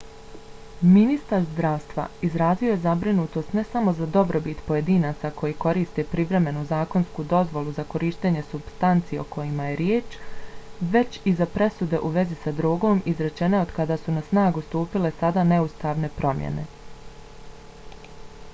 ministar zdravstva izrazio je zabrinutost ne samo za dobrobit pojedinaca koji koriste privremenu zakonsku dozvolu za korištenje supstanci o kojima je riječ već i za presude u vezi sa drogom izrečene od kada su na snagu stupile sada neustavne promjene